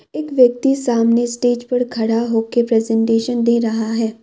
एक व्यक्ति सामने स्टेज पर खड़ा होके प्रेजेंटेशन दे रहा है।